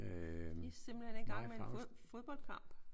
De er simpelthen i gang med en fodboldkamp